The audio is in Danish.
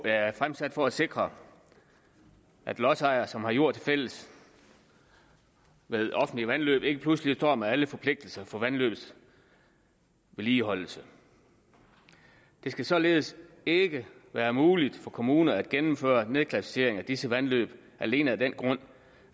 er fremsat for at sikre at lodsejere som har jord tilfælles med offentlige vandløb ikke pludselig står med alle forpligtelser for vandløbets vedligeholdelse det skal således ikke være muligt for kommuner at gennemføre nedklassificering af disse vandløb alene af den grund